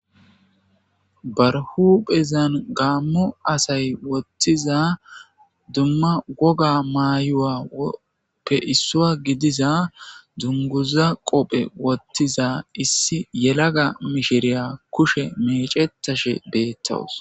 ba huuphphezan gaammo asay woththiza dumma wogga mayuwappe issuwa gidiza dunguza qoofe woththiza issi yelagga miishshiriya kushe mecetashshe bettawus